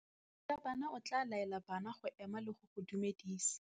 Morutabana o tla laela bana go ema le go go dumedisa.